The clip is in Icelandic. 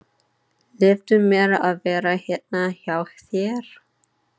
Leyfðu mér að vera hérna hjá þér.